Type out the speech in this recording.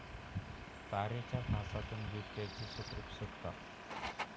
तारेच्या फासातून बिबट्याची सुखरूप सुटका